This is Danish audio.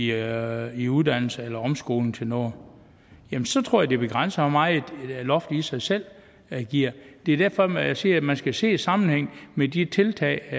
jer i uddannelse eller omskoling til noget jamen så tror jeg det begrænset hvor meget loftet i sig selv giver det er derfor jeg siger at man skal se det i sammenhæng med de tiltag